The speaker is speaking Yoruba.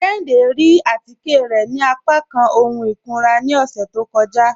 Kéhìndé rí àtíkẹ̀ rẹ̀ ni àpàkán ọ̀hun ikúnrà ni ọṣẹ̀ tó kọ́jà